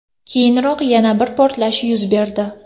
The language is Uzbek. Keyinroq yana bir portlash yuz berdi .